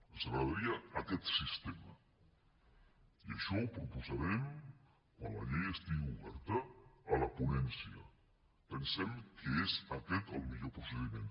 ens agradaria aquest sistema i això ho proposarem quan la llei estigui oberta a la ponència pensem que és aquest el millor procediment